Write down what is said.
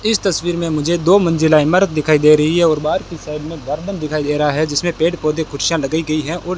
इस तस्वीर में मुझे दो मंजिला इमारत दिखाई दे रही है और बाहर की साइड में गार्डन दिखाई दे रहा है जिसमें पेड़ पौधे कुर्सियां लगाई गई है और --